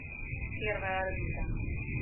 первая орбита